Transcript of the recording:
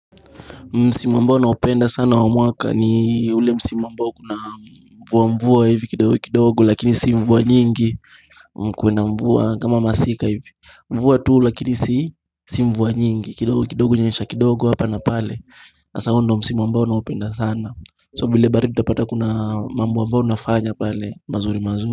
Msimu ambao naopenda sana wa mwaka ni ule msimu ambao kuna mvua mvua hivi kidogo kidogo lakini si mvua nyingi mkwuwe na mvua kama masika hivi mvua tu lakini si si mvua nyingi kidogo kidogo inanyesha kidogo hapa na pale sasa huo ndo msimu ambao naupenda sana so bile baridi utapata kuna mambo ambao nafanya pale mazuri mazuri.